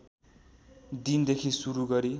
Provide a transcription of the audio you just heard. दिनदेखि सुरु गरी